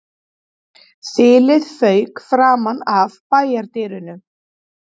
Þilið fauk framan af bæjardyrunum